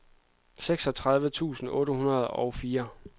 seksogtredive tusind otte hundrede og fire